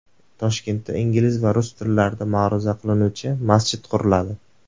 Toshkentda ingliz va rus tillarida ma’ruza qilinuvchi masjid quriladi.